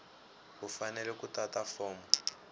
u fanele ku tata fomo